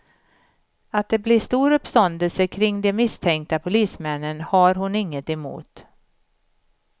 Att det blir stor uppståndelse kring de misstänkta polismännen har hon inget emot.